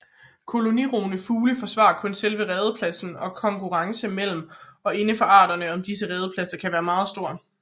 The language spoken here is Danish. Kolonirugende fugle forsvarer kun selve redepladsen og konkurrencen mellem og indenfor arterne om disse redepladser kan være meget stor